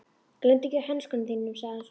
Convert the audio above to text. Gleymdu ekki hönskunum þínum, sagði hann svo.